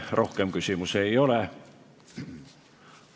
Teile rohkem küsimusi ei ole.